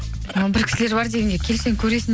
бір кісілер бар дегенге келсең көресің